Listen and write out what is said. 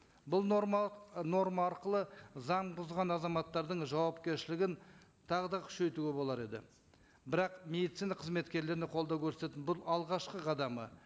бұл норма норма арқылы заң бұзған азаматтардың жауапкершілігін тағы да күшейтуге болар еді бірақ медицина қызметкерлеріне қолдау көрсететін бұл алғашқы қадамы